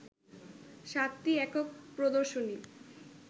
সাতটি একক প্রদর্শনী